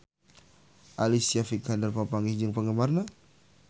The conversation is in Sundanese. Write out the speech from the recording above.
Alicia Vikander papanggih jeung penggemarna